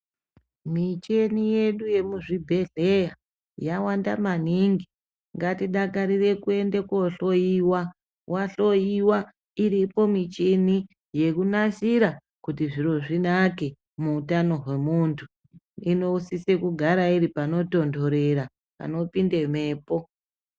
Micheni yedu yemuzvibhedhleya yawanda maningi ngatidakarire kuenda kohloiwa. Vahloiwa iripo michini yekunasira kuti zviro zvinake muutano hwemuntu. Inosise kugara iri panotonhorera panopinda mhepo.